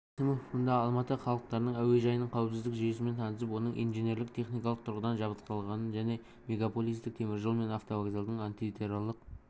кәрім мәсімов мұнда алматы халықаралық әуежайының қауіпсіздік жүйесімен танысып оның инженерлік-техникалық тұрғыдан жабдықталғанын және мегаполистің теміржол мен автовокзалдың антитеррорлық